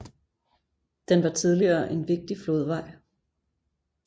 Den var tidligere en vigtig flodvej